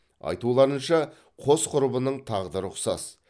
айтуларынша қос құрбының тағдыры ұқсас